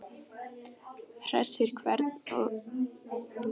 Hersir, hvernig er stemningin?